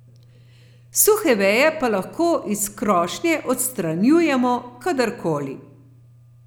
Suhe veje pa lahko iz krošnje odstranjujemo kadarkoli.